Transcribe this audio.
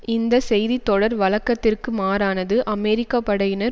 இந்த செய்தித்தொடர் வழக்கத்திற்கு மாறானது அமெரிக்க படையினர்